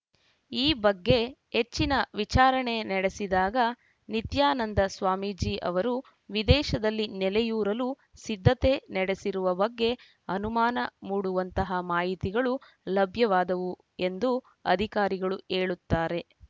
ಈ ಬಗ್ಗೆ ಹೆಚ್ಚಿನ ವಿಚಾರಣೆ ನಡೆಸಿದಾಗ ನಿತ್ಯಾನಂದ ಸ್ವಾಮೀಜಿ ಅವರು ವಿದೇಶದಲ್ಲಿ ನೆಲೆಯೂರಲು ಸಿದ್ಧತೆ ನಡೆಸಿರುವ ಬಗ್ಗೆ ಅನುಮಾನ ಮೂಡುವಂತಹ ಮಾಹಿತಿಗಳು ಲಭ್ಯವಾದವು ಎಂದು ಅಧಿಕಾರಿಗಳು ಹೇಳುತ್ತಾರೆ